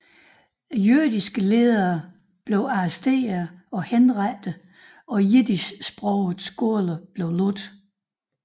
Jødiske ledere blev arresteret og henrettet og jiddischsprogede skoler lukket